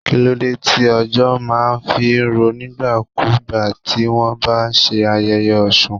Kíló dé tí òjò má a fí rọ̀ nígbà kú gbà tí wọ́n bá ń ṣe ayẹyẹ Osun.